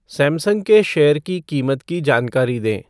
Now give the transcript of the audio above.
Samsung के share की कीमत की जानकारी दें